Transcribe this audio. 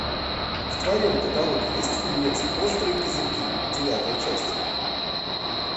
в твоем каталоге есть фильмец острые козырьки девятая часть